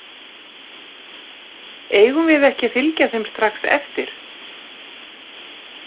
Eigum við ekki að fylgja þeim strax eftir?